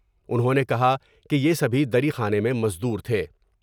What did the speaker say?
انہوں نے کہا کہ یہ سبھی دری خانے میں مزدور تھے ۔